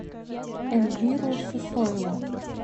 эльвиру сысоеву